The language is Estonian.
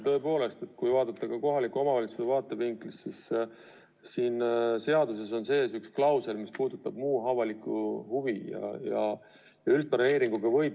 Tõepoolest, kui vaadata kohaliku omavalitsuse vaatevinklist, siis siin seaduses on üks klausel, mis puudutab muud avalikku huvi.